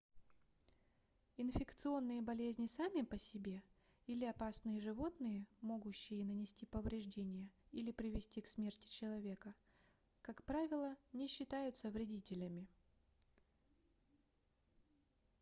инфекционные болезни сами по себе или опасные животные могущие нанести повреждения или привести к смерти человека как правило не считаются вредителями